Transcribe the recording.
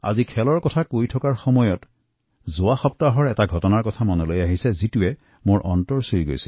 যেতিয়া আজি মই খেলৰ কথা কৈছো তেতিয়াই যোৱা সপ্তাহৰ এক হৃদয়স্পৰ্শী ঘটনা মনত পৰিছে